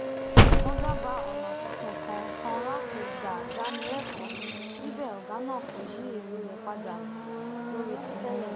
wón dábàá ònà tuntun kan kan láti gbà dáni lékòó síbẹ ògá náà kò yí èrò rè padà lórí ti tẹlẹ